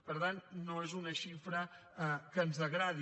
per tant no és una xifra que ens agradi